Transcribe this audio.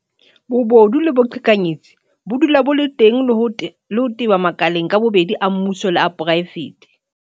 Ba ile ba nkamohela ka matsoho a mofuthu ka mora ho sotleha dilemolemo.